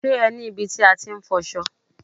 Ṣé ẹ ní ibi tí a ti ń fọṣọ?